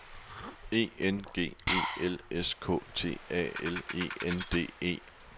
E N G E L S K T A L E N D E